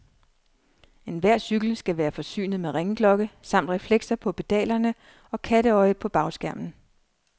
Enhver cykel skal være forsynet med ringeklokke samt reflekser på pedalerne og katteøje på bagskærmen.